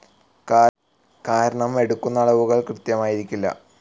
കാരണം എടുക്കുന്ന അളവുകൾ കൃത്യമായിരിക്കില്ല.